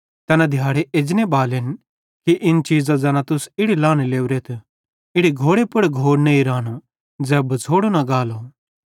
तैना दिहाड़े एजने बालेन कि इन चीज़ां ज़ैना तुस इड़ी लहने लोरेथ इड़ी घोड़े पुड़ घोड़ नईं रानो ज़ै बछ़ोड़ो न गालो